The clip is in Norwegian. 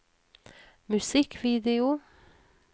musikkvideo